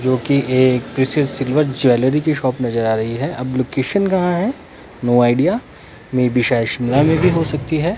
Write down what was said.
जोकि ये किसी सिल्वर ज्वेलरी की शॉप नजर आ रही है अब लोकेशन कहां है नो आइडिया मे बी शायद शिमला मे भी हो सकती है।